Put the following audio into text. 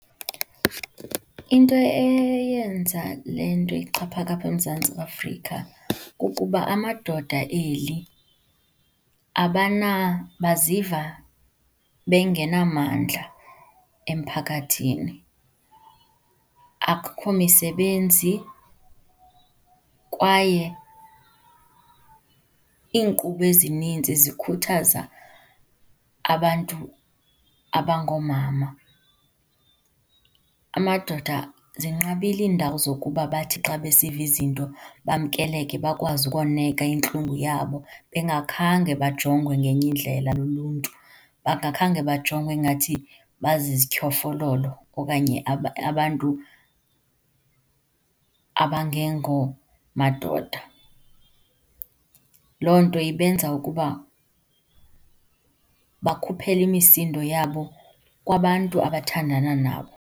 Into eyenza le nto ixhaphake apha eMzantsi Afrika kukuba amadoda eli baziva bengenamandla emphakathini. Akukho misebenzi kwaye iinkqubo ezininzi zikhuthaza abantu abangoomama. Amadoda, zinqabile iindawo zokuba bathi xa besiva izinto bamkeleke bakwazi ukoneka intlungu yabo bengakhange bajongwe ngenye indlela luluntu, bengakhange bajongwe ngathi bazizityhofololo okanye abantu abangengomadoda. Loo nto ibenza ukuba bakhuphele imisindo yabo kwabantu abathandana nabo.